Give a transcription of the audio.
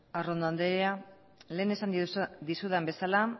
arrondo andrea lehen esan dizudan esan bezala